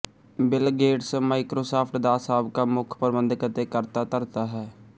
bill Gates Microsoft ਦਾ ਸਾਬਕਾ ਮੁੱਖ ਪ੍ਰਬੰਧਕ ਅਤੇ ਕਰਤਾ ਧਰਤਾ ਹੈ